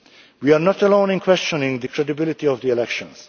We are not alone in questioning the credibility of the elections.